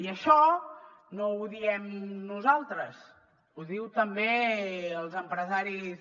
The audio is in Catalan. i això no ho diem nosaltres ho diuen també els empresaris